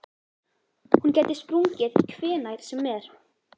Hún gæti sprungið hvenær sem er.